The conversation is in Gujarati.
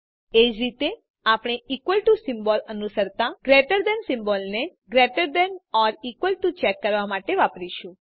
એ જ રીતે આપણે ઇકવલ ટુ સિમ્બોલ અનુસરતા ગ્રેટર ધેન સિમ્બોલને greater than or equal to check કરવા માટે વાપરીશું